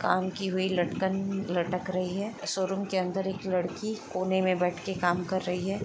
काम की हुई लटकन लटक रही है शोरूम के अंदर एक लड़की कोने में बैठकर काम कर रही है